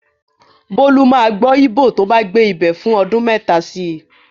Bólú máa gbọ́ Íbò tó bá gbé ibẹ̀ fún ọdun mẹ́ta si.